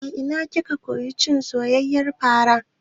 A ina kika koyi cin soyayyiyar fara?